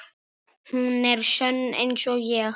Hún er sönn einsog ég.